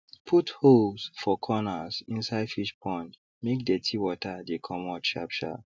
put holes for corners inside fish pond make dirty water dey commot sharp sharp